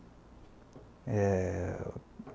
eh...